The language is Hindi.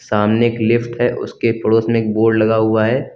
सामने एक लिफ्ट है उसके पड़ोस में एक बोर्ड लगा हुआ है।